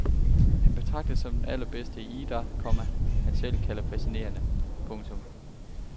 Han betragtes som den allerbedste i en idræt, komma han selv kalder fascinerende. punktum